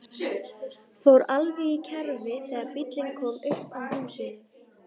Fór alveg í kerfi þegar bíllinn kom upp að húsinu.